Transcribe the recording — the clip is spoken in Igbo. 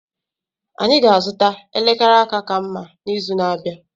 Anyị ga-azụta elekere aka ka mma n'izu na-abịa.